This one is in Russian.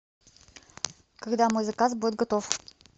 когда мой заказ будет готов